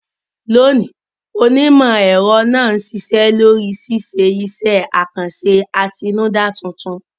Lónìí, onímọ̀-ẹ̀rọ náà ń ṣiṣẹ́ lórí ṣíṣe iṣẹ́ àkànṣe àtinúdá tuntun.